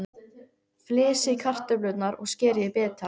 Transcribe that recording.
Flysjið kartöflurnar og skerið í bita.